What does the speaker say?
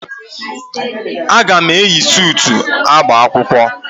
A ga m eyi suutu agba akwụkwọ.